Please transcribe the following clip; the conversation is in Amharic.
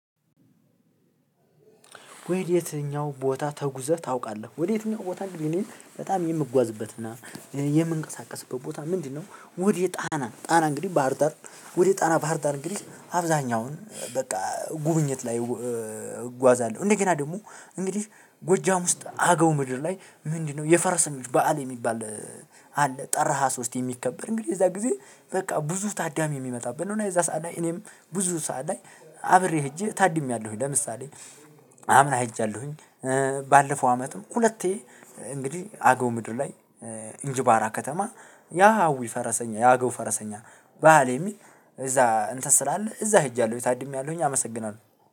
ወደ የትኛው ቦታ ተጉዘህ ታውቃለህ? ወደ የትኛው ቦታ ቢሊን በጣም የምጓዝበትና የምንቀሳቀስበት ቦታ ምንድነው? ወደ ጣና ጣና እንግዲህ ባህር ዳር ወደ ጣና ባህር ዳር እንግዲህ አብዛኛውን በቃ ጉብኝት ላይ እጓዛለሁ። እንደገና ደግሞ እንግዲህ ጎጃም ውስጥ አገው ምድር ላይ ምንድነው የፈረሰኞች በዓል የሚባል አለ። ጥር ሃያ ሶስት የሚከበር እንግዲህ የዛ ጊዜ በቃ ብዙ ታዳሚ የሚመጣበት ነው። የዛ ሰዓት ላይ እኔም ብዙ ሰዓት ላይ አብሬ ሄጄ ታድሜያለሁኝ። ለምሳሌ አምና ሄጃለሁኝ። ባለፈው አመትም ሁለቴ እንግዲህ አገው ምድር ላይ እንጅባራ ከተማ የአውይ ፈረሰኛ የአገው ፈረሰኛ በዓል የሚል እዛ እንትን ስላለ እዛ ሄጃለሁ ታድሜያለሁኝ። አመሰግናለሁ።